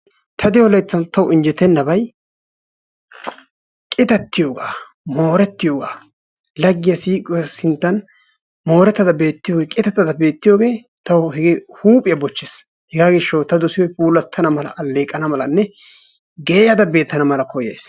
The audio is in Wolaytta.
Ta de'o layttan taw injjettenabay qitattiyooga, mooretiyooga laggiya siiquwa sinttan mooratada beettiyooge, qitattada beettiyooge taw hege huuphiyaa bochchees. hegaa gishshaw ta dossiyoo puulattana mala alleeqana malanne geeyyada beettana mala koyyays.